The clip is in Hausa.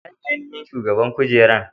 Waye ne ainashin mai shugaban cin kujeran?